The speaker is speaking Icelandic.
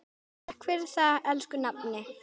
Takk fyrir það, elsku nafni.